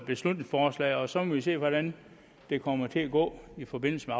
beslutningsforslaget og så må vi se hvordan det kommer til at gå i forbindelse